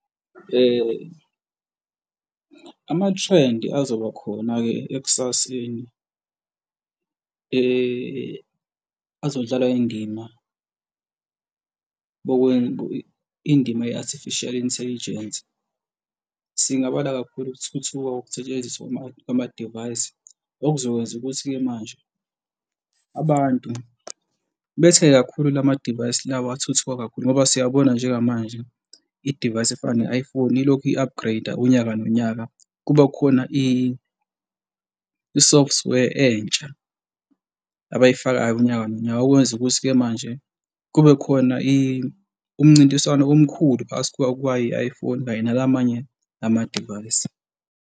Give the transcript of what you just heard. Amathrendi azoba khona-ke ekusaseni, azodlala indima, indima ye-artificial intelligence singabala kakhulu ukuthuthuka kokusetshenziswa kwama-device okuzokwenza ukuthi-ke manje abantu bethenge kakhulu lamadivayisi lawa athuthuka kakhulu ngoba siyabona njengamanje idivayisi efana ne-iPhone ilokhu i-upgrade-a unyaka nonyaka, kuba khona i-software entsha abayifakayo unyaka nonyaka. Okwenza ukuthi-ke manje kube khona umncintiswano omkhulu phakathi kwayo i-iPhone nala amanye amadivayisi.